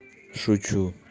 шучу